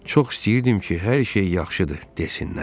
Çox istəyirdim ki, hər şey yaxşıdır desinlər.